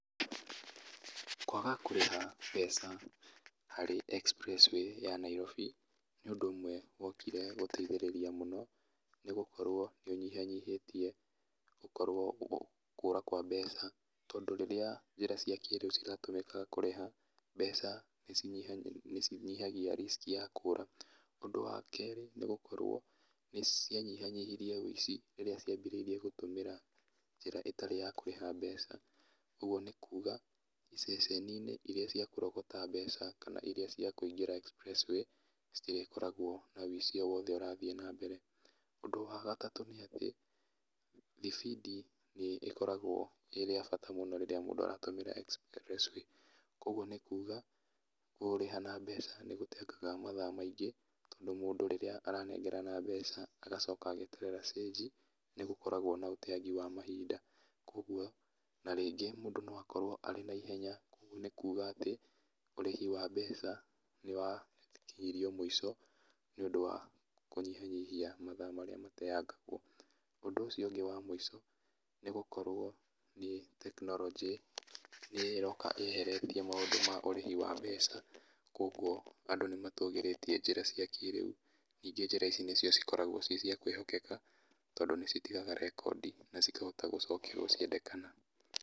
Kwaga kũrĩha mbeca harĩ express way ya Niarobi, nĩ ũndũ ũmwe wokire gũteithĩrĩria mũno, nĩgũkorwo nĩũnyihanyihĩtie gũkorwo gũ kũra kwa mbeca, tondũ rĩrĩa njĩra cia kĩrĩu ciratũmĩka kũrĩha mbeca nĩci nĩcinyihagia risk ya kũra, ũndũ wa kerĩ, nĩ gũkorwo nĩcianyihanyihirie wũici rĩrĩa ciambĩrĩirie gũtũmĩra njĩra ĩtarĩ ya kũrĩha mbeca, ũguo nĩkuga, mbeca icio nini irĩa cia kũrogota mbeca kana irĩa cia kũingĩra express way citirĩkoragwo na wũici o wothe ũrathi nambere, ũndũ wa gatatũ nĩ atĩ, thibindi nĩ ĩkoragwo ĩrĩ ya bata mũno rĩrĩa mũndũ aratũmĩra express way, koguo nĩkuga, kũrĩha na mbeca nĩgũteangaga mathaa maingĩ, tondũ mũndũ rĩrĩa aranengerana mbeca agacoka ageterera cĩnji, nĩgũkoragwo na ũteangi wa mahinda, koguo, na rĩngĩ mũndũ noakorwo arĩ na ihenya, koguo nĩkuga atĩ ũrĩhi wa mbeca nĩwakinyirio mũico, nĩ ũndũ wa kũnyihanyihia matha marĩa mateangagwo, ũndũ ũcio ũngĩ wa mũico, nĩgũkorwo nĩ tekinoronjĩ, nĩyo ĩroka yeheretie maũndũ ma ũrĩhi wa mbeca, koguo andũ nĩmatũgĩrĩtie njĩra cia kĩrĩu, ningĩ njĩra ici nĩcio cikoragwo ci cia kwĩhokeka, tondũ nĩcitigaga rekondi na cikahota gũcokio ciendekana.